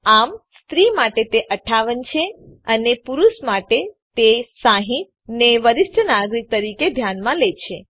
આમ સ્ત્રી માટે તે ૫૮ છે અને પુરુષ માટે તે ૬૦ ને વરિષ્ઠ નાગરિક તરીકે ધ્યાનમાં લે છે